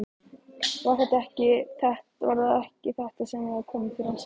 Var það ekki þetta sem hafði komið fyrir hann sjálfan?